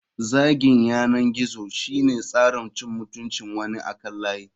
Zagin yanar gizo shine tsarin cin mutuncin wani akan layi.